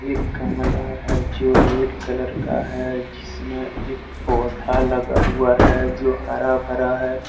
गमला है जो रेड कलर का है जिसमें एक पौधा लगा हुआ है जो हरा भरा है।